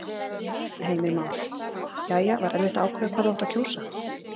Heimir Már: Jæja, var erfitt að ákveða hvað þú átt að kjósa?